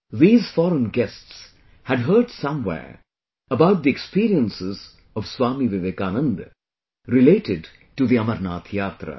These foreign guests had heard somewhere about the experiences of Swami Vivekananda related to the Amarnath Yatra